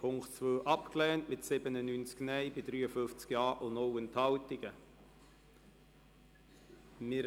Sie haben Punkt 2 mit 97 Nein- bei 53 Ja-Stimmen und 0 Enthaltungen abgelehnt.